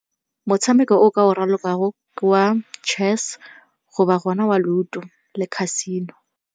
Motshameko o o ka o ralokang ke wa chess go ba go na wa Ludo le Casino.